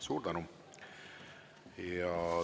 Suur tänu!